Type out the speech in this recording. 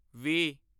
ਵੀਹ